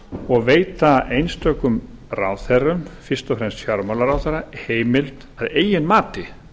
og veita einstökum ráðherrum fyrst og fremst fjármálaráðherra heimild að eigin mati